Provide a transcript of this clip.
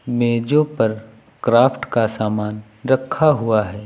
मेजों पर क्राफ्ट का सामान रखा हुआ है।